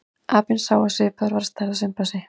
Apinn sá var svipaður að stærð og simpansi.